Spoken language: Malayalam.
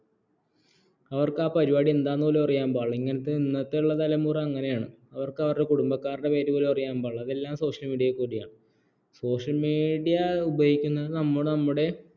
അവർക്ക് ആ എന്താന്നുപോലും അറിയാൻപാടില്ല ഇന്നത്തെയുള്ള തലമുറ അങ്ങനെയാണ് അവർക്ക് അവരുടെ കുടുംബക്കാരുടെ പേരുപോലും അറിയാൻ പാടില്ല അതെല്ലാം social meadia യിൽക്കൂടെയാണ്